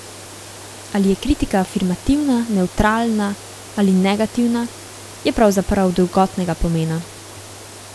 Ali je kritika afirmativna, nevtralna ali negativna, je pravzaprav drugotnega pomena.